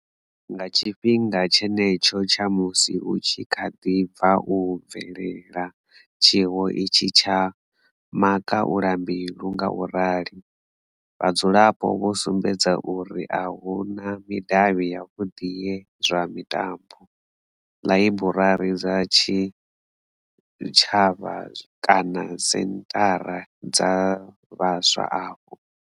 Nga tshifhinga tshenetsho tsha musi hu tshi kha ḓi bva u bvelela tshiwo itshi tsha makhaulambilu ngaurali, vhadzulapo vho sumbedza uri a hu na midavhi yavhuḓi ya zwa mitambo, ḽaiburari dza zwitshavha kana senthara dza vhaswa afho.